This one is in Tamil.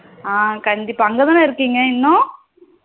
ஆ கண்டிப்பா அங்கதானா இருக்கீங்க இன்னும்